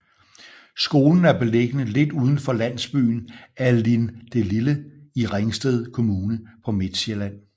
Skolen er beliggende lidt uden for landsbyen Allindelille i Ringsted Kommune på Midtsjælland